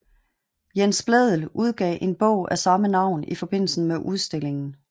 Jens Blædel udgav en bog af samme navn i forbindelse med udstillingen